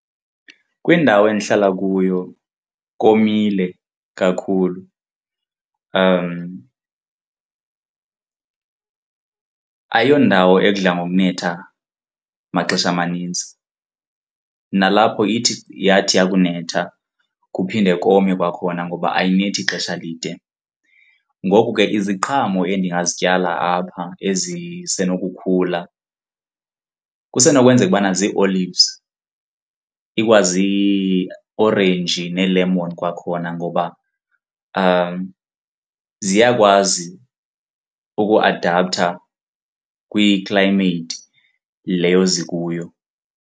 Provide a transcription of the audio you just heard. Kwindawo endihlala kuyo komile kakhulu ayondawo edla ngokuthetha maxesha manintsi nalapho ithi yathi kwakunetha kuphinde kome kwakhona ngoba ayinethi ixesha elide. Ngoku ke, iziqhamo endingazityala apha ezisenokukhula kusenokwenzeka ukubana zii-olives, ikwaziiorenji neelemoni kwakhona ngoba ziyakwazi ukuadaptha kwi-climate leyo ezikuyo.